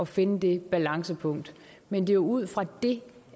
finde det balancepunkt men det er ud fra det